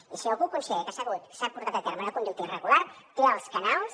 i si algú considera que s’ha portat a terme una conducta irregular té els canals